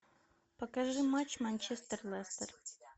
покажи матч манчестер лестер